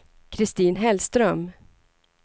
Kristin Hellström